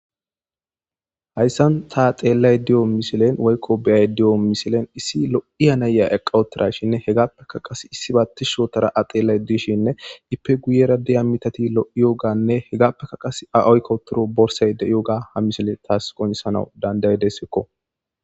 Haysan tani tseellayida diyo misilenne woykko be'aayida diyo misilenne issi lo'iya nayiya eqqa uttidashinne hegape qassikka issi ba tishshi ottada a tseellishenne ippe guuyera diya mittati lo'iyoganne hegape qassikka a oyqqido borssayi diyoga ha missile tassi qonccisanawu dandayesiko.